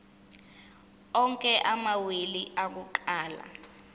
onke amawili akuqala